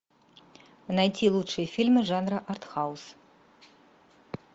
найти лучшие фильмы жанра арт хаус